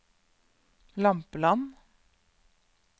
Lampeland